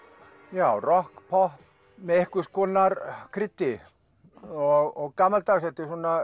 já rokk popp með einhvers konar kryddi og gamaldags ef